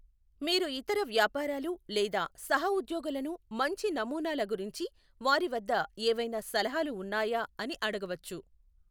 మీరు ఇతర వ్యాపారాలు లేదా సహ ఉద్యోగులను మంచి నమూనాల గురించి వారి వద్ద ఏవైనా సలహాలు ఉన్నాయా అని అడగవచ్చు.